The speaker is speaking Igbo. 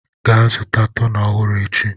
gaa zụta toner ọhụrụ echi!